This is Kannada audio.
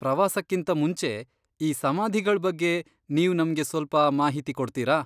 ಪ್ರವಾಸಕ್ಕಿಂತ ಮುಂಚೆ ಈ ಸಮಾಧಿಗಳ್ ಬಗ್ಗೆ ನೀವ್ ನಮ್ಗೆ ಸ್ವಲ್ಪ ಮಾಹಿತಿ ಕೊಡ್ತೀರಾ?